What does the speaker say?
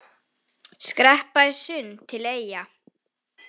Skreppa í sund til Eyja